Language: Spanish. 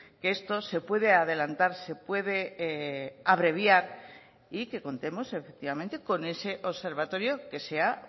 que esto se puede adelantar se puede abreviar y que contemos efectivamente con ese observatorio que sea